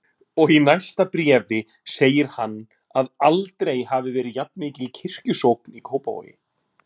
Og í næsta bréfi segir hann að aldrei hafi verið jafnmikil kirkjusókn í Kópavogi.